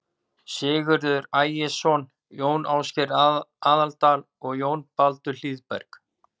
Sigurður Ægisson, Jón Ásgeir í Aðaldal og Jón Baldur Hlíðberg.